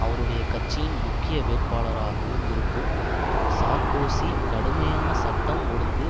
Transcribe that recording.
அவருடைய கட்சியின் முக்கிய வேட்பாளராகவும் இருக்கும் சார்க்கோசி கடுமையான சட்டம் ஒழுங்கு